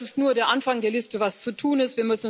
Das ist nur der Anfang der Liste, was zu tun ist.